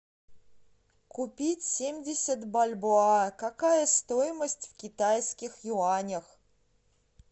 купить семьдесят бальбоа какая стоимость в китайских юанях